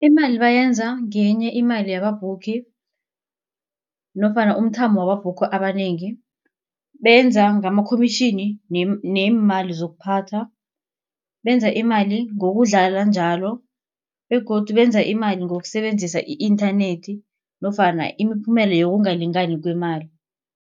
Imali bayenza ngenye imali yamabhukhi nofana umthamo wamabhukho abanengi. Benza ngamakhomitjhini neemali zokuphatha, benza imali ngokudlala njalo begodu benza imali ngokusebenzisa i-nternet nofana imiphumela yokungalingani kwemali.